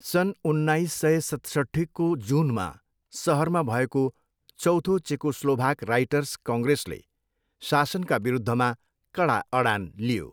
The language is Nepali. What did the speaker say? सन् उन्नाइस सय सतसट्ठीको जुनमा सहरमा भएको चौथो चेकोस्लोभाक राइटर्स कङ्ग्रेसले शासनका विरुद्धमा कडा अडान लियो।